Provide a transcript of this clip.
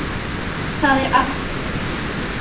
Það er allt.